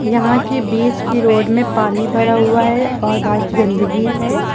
यहां के बीच के रोड में पानी भरा हुआ है और बहोत गंदगी है।